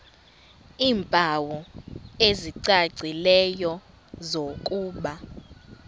iimpawu ezicacileyo zokuba